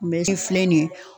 filɛ nin ye